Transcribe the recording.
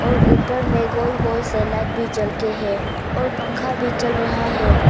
ऊपर में गोल गोल से लाइट भी जलके हैं और पंखा भी चल रहा है।